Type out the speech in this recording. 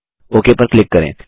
okay पर click करें